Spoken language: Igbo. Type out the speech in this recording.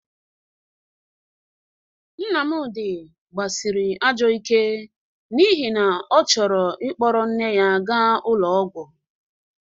Nnamdị gbasịrị ajọ ike n'ihi na ọ chọrọ ịkpọrọ nne ya ga ụlọ ọgwọ..